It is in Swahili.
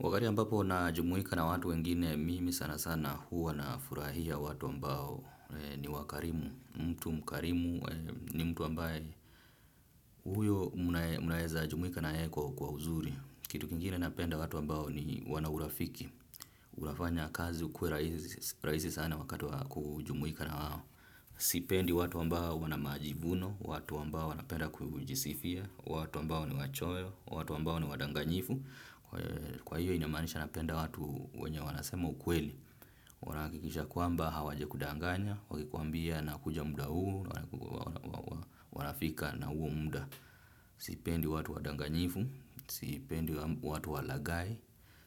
Wakati ambapo na jumuika na watu wengine, mimi sana sana huwa na furahia watu ambao ni wakarimu, mtu mkarimu, ni mtu ambaye huyo munaeza jumuika na yeye kwa uzuri. Kitu kingine napenda watu ambao ni wana urafiki, unafanya kazi ukue rahisi sana wakati wa kujumuika na wao. Sipendi watu ambao wanamajivuno, watu ambao wanapenda kujisifia, watu ambao ni wachoyo, watu ambao ni wadanganyifu. Kwa hiyo inamaanisha napenda watu wenye wanasema ukweli. Wanahakikisha kwamba hawaja kudanganya. Wakikuambia nakuja muda huu wanafika na huo muda. Sipendi watu wadanganyifu. Sipendi watu walagai.